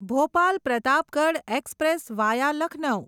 Bhopal Pratapgarh express via Lucknow